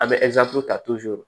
An bɛ ta